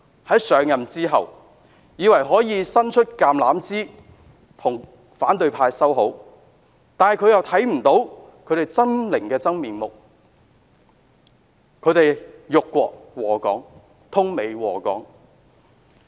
她在上任後，以為可以伸出橄欖枝與反對派修好，但她卻看不到他們的真面目是何等的猙獰，他們幹的是辱國禍港、通美禍港的勾當。